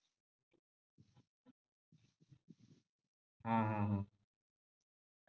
हम्म हम्म हम्म